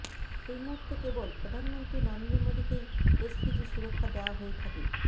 এই মুহূর্তে কেবল প্রধানমন্ত্রী নরেন্দ্র মোদীকেই এসপিজি সুরক্ষা দেওয়া হয়ে থাকে